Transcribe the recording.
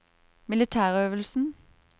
militærøvelsen